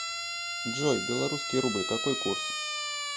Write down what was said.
джой белорусский рубль какой курс